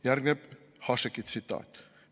" Järgneb Hašeki tsitaat. "